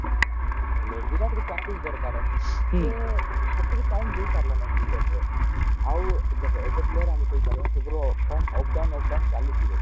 ହେଲେ ବିରାଟ କୁ practice ଦରକାର ସେ ସେତିକି time ଦେଇ ପାରିଲାନି cricket ରେ ଆଉ ଦେଖେ ଏବେ player ସବୁ ର କମ up down up down ଚାଲିଥିବ